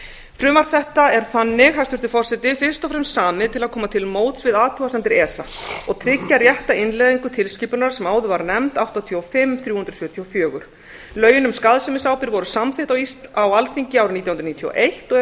frumvarp þetta er þannig hæstvirtur forseti fyrst og fram samið til að koma til móts við athugasemdir esa og tryggja rétta innleiðingu tilskipunar sem áður var nefnd áttatíu og fimm þrjú hundruð sjötíu og fjögur lögin um skaðsemisábyrgð voru samþykkt á alþingi árið nítján hundruð níutíu og eitt og eru þau